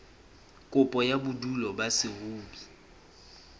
kopo ya bodulo ba saruri